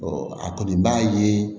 a kɔni b'a ye